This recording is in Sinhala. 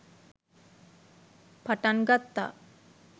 පටන් ගත්තා.